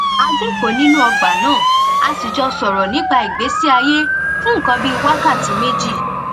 a jókòó nínú ọgbà náà a sì jọ sọ̀rọ̀ nípa ìgbésí ayé fún nǹkan bí wákàtí méjì